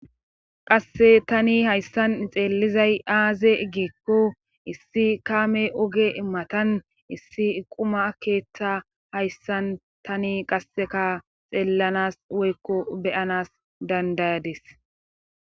qasse tani hayssan xeellizay aaze eggeekko issi kaame oge immatan issi iquma keetha hayssan tani qasseka xeellanas woykko beyanas dandayadis